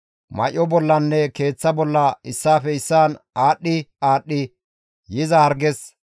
may7o bollanne keeththa bolla issaafe issaan aadhdhi aadhdhi yiza harges,